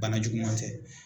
Bana juguman tɛ.